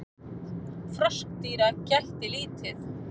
Froskdýra gætti lítið.